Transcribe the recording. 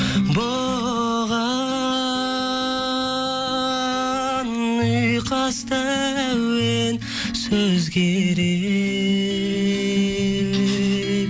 бұған ұйқасты әуен сөз керек